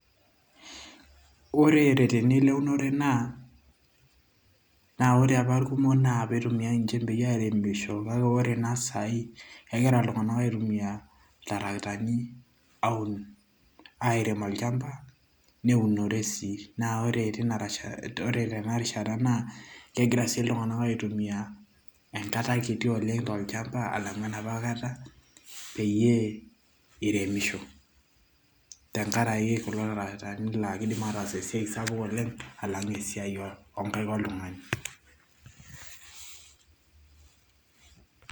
Ore tenilo eunore naa na ore apa irkumok na peitumia njembei aremisho kake ore naa kuna sai na kegira ltunganak aitumia iltarakitani aunishore arem olchamba neunishore naa ore sii teina teinarishata na kegira sii ltunganak aitumia enkata kiti oleng tolchamba alang enaapa kara peyie iremisho tenkaraki kulo tarakitani laa keidim atas esiai oleng alang esiaai onkaik oltungani [break]